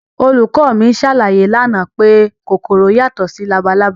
Olùkọ́ mi ṣàlàyé lánàá pé kòkòrò yàtọ̀ sí labalábá